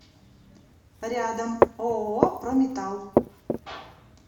рядом ооо прометалл